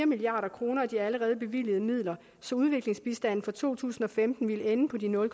milliard kroner af de allerede bevilgede midler så udviklingsbistanden for to tusind og femten ville ende på de nul